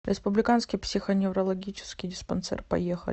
республиканский психоневрологический диспансер поехали